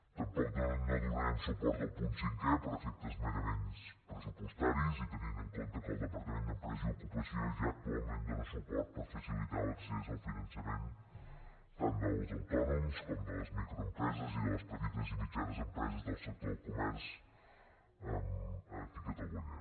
tampoc no donarem suport al punt cinquè per efectes merament pressupostaris i tenint en compte que el departament d’empresa i ocupació ja actualment dóna suport per facilitar l’accés al finançament tant dels autònoms com de les microempreses i de les petites i mitjanes empreses del sector del comerç aquí a catalunya